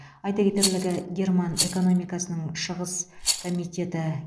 айта кетерлігі герман экономикасының шығыс комитеті